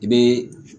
I bɛ